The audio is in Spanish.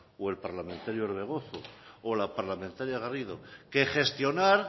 o el parlamentario orbegozo o la parlamentaria garrido que gestionar